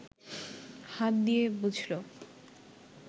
হাত দিয়ে বুঝল